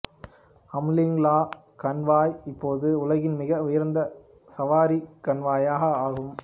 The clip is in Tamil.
அம்லிங் லா கண்வாய் இப்போது உலகின் மிக உயர்ந்த சவாரி கணவாய் ஆகும்